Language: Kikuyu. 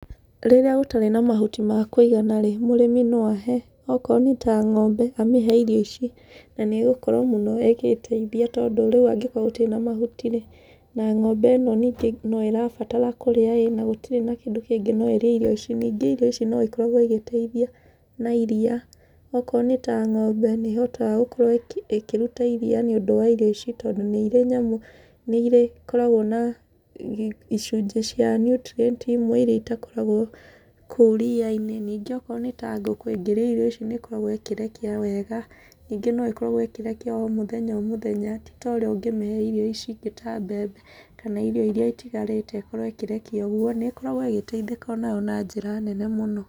Rĩrĩa ũtarĩ na mahuti ma kũigana-rĩ mũrĩmi no ahe okorwo nĩta ng'ombe, amĩhe irio ici na nĩgũkorwo mũno igĩgĩteithia tondũ rĩu angĩgĩkorwo gũtirĩ na mahuti-rĩ na ng'ombe ĩno ningĩ no ĩrabatara kũríĩ-ĩ na gũtirĩ na kĩndũ kĩngĩ no ĩrĩe irio ici. Ningĩ irio ici no igĩkoragwo igĩteithia na iriia, okorwo nĩta ng'ombe nĩĩhotaga gũkorwo ĩkĩruta iriia nĩũndũ wa irio ici tondũ nĩirĩ na nyamu, nĩikoragwo na icunjĩ cia nutirienti imwe iria itakoragwo kũu ria-inĩ. Ningĩ okorwo nĩta ngũkũ, ĩngĩrĩa irio ici nĩĩkoragwo ĩkĩrekia wega, ningĩ nĩĩkoragwo ĩkĩrekia o mũthenya o mũthenya, ti torĩa ũngĩmĩhee irio ici ingĩ ta mbembe kana irio iria itigarĩte ĩkorwo ĩkĩrekia uguo, nĩkoragwo ĩgĩteithĩka o nayo na njĩra nene mũno.